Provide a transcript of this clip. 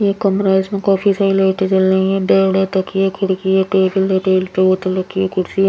ये कमरा है इसमें काफी सारी लाइटे जल रही हैं बेड है तकिये खिड़की है टेबल है टेबल पे बोतल रखी है कुर्सी है।